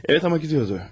Bəli, amma gedirdi.